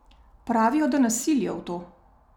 Pravijo, da nas silijo v to.